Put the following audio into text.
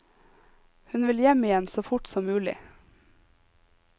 Hun vil hjem igjen så fort som mulig.